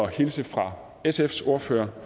hilse fra sfs ordfører